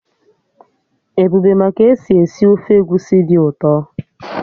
Ebube ma ka-esi esi ofe egusi dị ụtọ